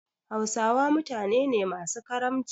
Hausawa mutane ne masu karamci.